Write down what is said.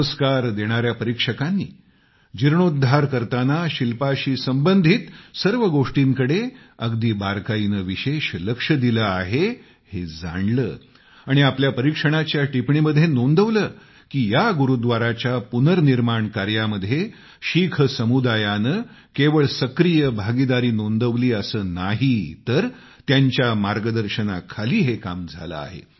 पुरस्कार देणाया परीक्षकांनी जीर्णोद्धार करताना शिल्पाशी संबंधित सर्व गोष्टींकडे अगदी बारकाईने विशेष लक्ष दिलं आहे हे जाणलं आणि आपल्या परीक्षणाच्या टिपणीमध्ये नोंदवलं की या गुरूव्दाराच्या पुनर्निर्माण कार्यामध्ये शीख समुदायानं केवळ सक्रिय भागीदारी नोंदवली असं नाही तर त्यांच्या मार्गदर्शनाखाली हे काम झालं आहे